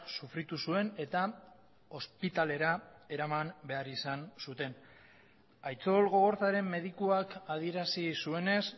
sufritu zuen eta ospitalera eraman behar izan zuten aitzol gogorzaren medikuak adierazi zuenez